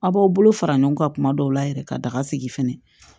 Aw b'aw bolo fara ɲɔgɔn kan kuma dɔw la yɛrɛ ka daga sigi fɛnɛ